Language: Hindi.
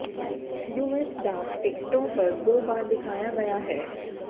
यूएस डाक टिकटों पर दो बार दिखाया गया है